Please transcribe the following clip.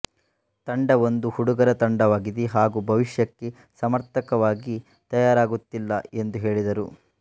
ತಂಡ ಒಂದು ಹುಡುಗರ ತಂಡವಾಗಿದೆ ಹಾಗೂ ಭವಿಷ್ಯಕ್ಕೆ ಸಮರ್ಥಕವಾಗಿ ತಯಾರಾಗುತ್ತಿಲ್ಲ ಎಂದು ಹೇಳಿದರು